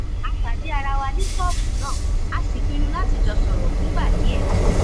a pàdé ara wa ní ṣọ́ọ̀bù náà a sì pinnu láti jọ sọ̀rọ̀ fúngbà díẹ̀